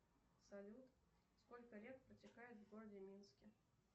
салют сколько рек протекает в городе минске